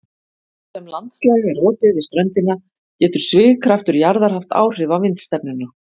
Þar sem landslag er opið við ströndina getur svigkraftur jarðar haft áhrif á vindstefnuna.